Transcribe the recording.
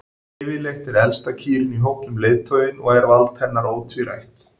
Yfirleitt er elsta kýrin í hópnum leiðtoginn og er vald hennar ótvírætt.